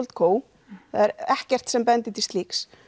það er ekkert sem bendir til slíks